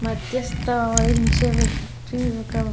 మధ్యస్థ అవహించే వ్యక్తి ఒక --